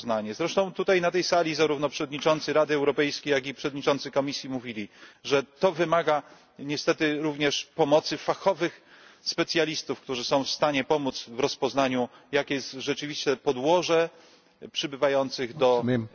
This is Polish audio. Zresztą tutaj, na tej sali, zarówno przewodniczący Rady Europejskiej, jak i przewodniczący Komisji mówili, że to wymaga niestety również pomocy fachowych specjalistów, którzy są w stanie pomóc w rozpoznaniu, jakie jest rzeczywiste umotywowanie przybywających do Europy migrantów.